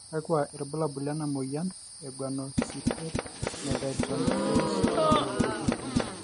kakua irbulabol lena moyian e Guanidinoacetate methyltransferase deficiency?